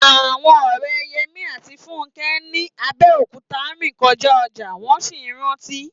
Àwọn ọ̀rẹ́ Yẹmí àti Fúnkẹ́ ní Abẹ́òkúta rìn kọjá ọjà, wọ́n sì ń rántí